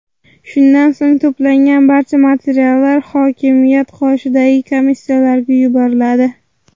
Shundan so‘ng to‘plangan barcha materiallar hokimiyat qoshidagi komissiyaga yuboriladi.